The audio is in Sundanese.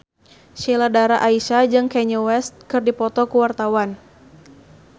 Sheila Dara Aisha jeung Kanye West keur dipoto ku wartawan